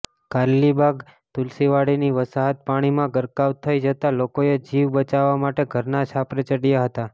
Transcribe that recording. કારેલીબાગ તુલસીવાડીની વસાહત પાણીમાં ગરકાવ થઇ જતા લોકોએ જીવ બચાવા માટે ઘરના છાપરે ચડ્યા હતા